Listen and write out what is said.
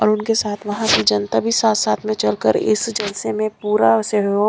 और उनके साथ वहां की जनता भी साथ साथ में चल कर इस जलसे मैं पूरा सहयोग--